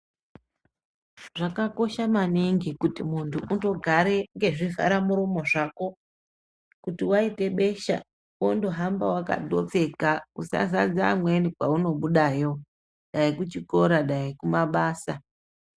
Zvakakosha maningi kuti muntu undogare ngezvivharamuromo zvako kuti waite besha wondohambe wakapfeka, usazadza amweni kwaunobudayo, dai kuchikora dai kumabasa.